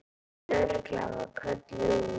Lögreglan var kölluð út.